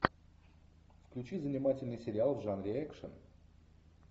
включи занимательный сериал в жанре экшн